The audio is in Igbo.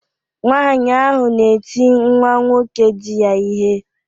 Nwanyị ahụ na-eti nwa nwoke diya ihe